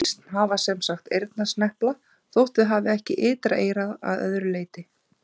Hænsn hafa sem sagt eyrnasnepla þótt þau hafi ekki ytra eyra að öðru leyti.